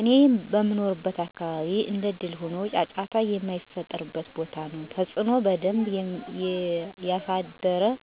እኔ በምኖርበት አካባቢ እንደእድል ሆኖ ጫጫታ የማይጠፍው ቦታ ነው። ተፅዕኖ በደንብ የሳድራል።